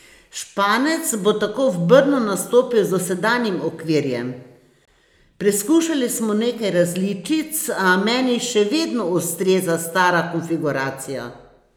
Španec bo tako v Brnu nastopil z dosedanjim okvirjem: "Preskušali smo nekaj različic, a meni še vedno ustreza stara konfiguracija.